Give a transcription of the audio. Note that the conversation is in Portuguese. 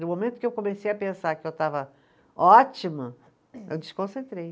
No momento que eu comecei a pensar que eu estava ótima, eu desconcentrei.